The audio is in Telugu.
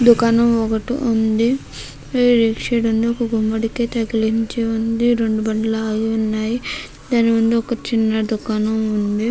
దుకాణం ఒకటి ఉంది. రైట్ సైడ్ న ఒక గుమ్మడికాయ తగిలించి ఉంది. రెండు బండ్లు ఆగి ఉన్నాయి. దాని ముందు ఒక చిన్ని దుకాణం ఉంది.